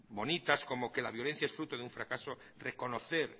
bonitas como que la violencia es fruto de un fracaso reconocer